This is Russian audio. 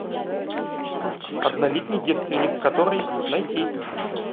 однолетний девственник который найти